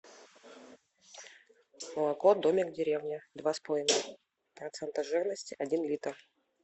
молоко домик в деревне два с половиной процента жирности один литр